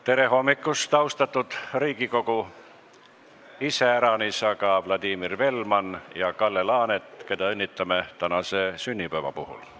Tere hommikust, austatud Riigikogu, iseäranis aga Vladimir Velman ja Kalle Laanet, keda õnnitleme tänase sünnipäeva puhul!